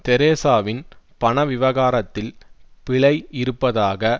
தெரசாவின் பண விவகாரத்தில் பிழை இருப்பதாக